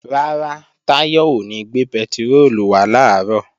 Rárá, Táyọ̀ ò ní gbé pẹtiróòlù wá làárọ̀